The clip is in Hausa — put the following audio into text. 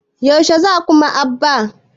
Yaushe za ku Maɗ'aba'a?